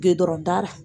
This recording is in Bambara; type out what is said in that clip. Gede la